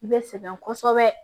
I bɛ sɛgɛn kosɛbɛ